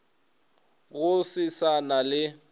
go se sa na le